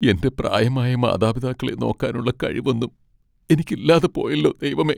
എൻ്റെ പ്രായമായ മാതാപിതാക്കളെ നോക്കാനുള്ള കഴിവൊന്നും എനിക്കില്ലാതെ പോയല്ലോ ദൈവമേ.